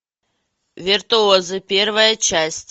виртуозы первая часть